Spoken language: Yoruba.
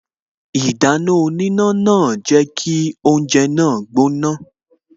Ìdáná oníná náà jẹ́ kí oúnje náà gbóná